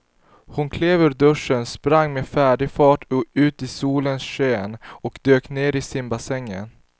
Hon klev ur duschen, sprang med väldig fart ut i solens sken och dök ner i simbassängen.